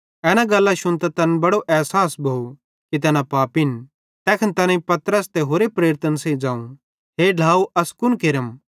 एना गल्लां शुन्तां तैन बड़ो एसास भोव कि तैना पापिन तैखन तैनेईं पतरसे ते होरि प्रेरितन सेइं ज़ोवं हे ढ्लाव अस कुन केरम